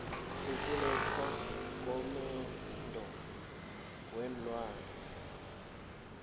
ukulethwa kwamaendo weenlwana